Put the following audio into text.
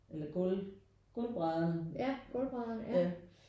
Eller gulv gulvbrædder ja